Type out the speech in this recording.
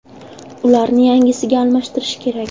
Ularni yangisiga almashtirish kerak.